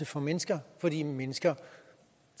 for mennesker fordi mennesker